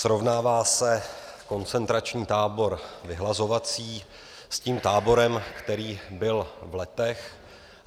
Srovnává se koncentrační tábor vyhlazovací s tím táborem, který byl v Letech.